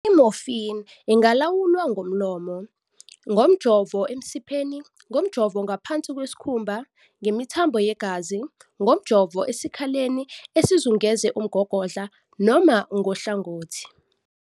I-morphine ingalawulwa ngomlomo, ngomjovo emsipheni, ngomjovo ngaphansi kwesikhumba, ngemithambo yegazi, ngomjovo esikhaleni esizungeze umgogodla, noma ngohlangothi.